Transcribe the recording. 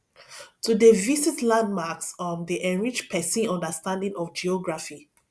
to dey visit landmarks um dey enrich pesin understanding of geography